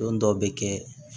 Don dɔ bɛ kɛ